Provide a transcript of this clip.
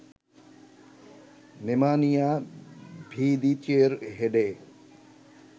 Nemanja ভিদিচের হেডে